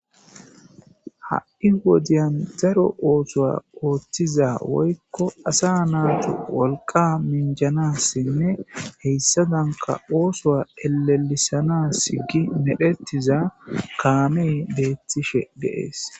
Ha'i wodiyan daro oothuwa oothiza woykko asa naatu wolqqa minjanasinne hessadanka oosuwa ellelisanasi gi medhetiza kaamey beetishe de'es.